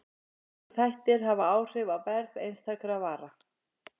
Margir þættir hafa áhrif á verð einstakra vara.